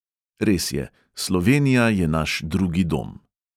Res je, slovenija je naš drugi dom.